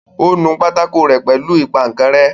ó nu pátákó rẹ́ pẹ̀lú ìpaǹkanrẹ́.